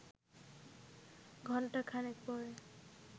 ঘণ্টা খানেক পরে